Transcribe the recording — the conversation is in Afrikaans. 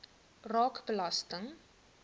raak belasting